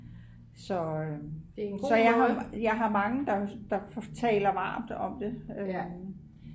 så jeg har mange der taler varmt om det